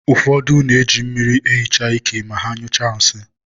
ụfọdụ na-eji mmiri ehicha ike ma ha nyụchaa nsị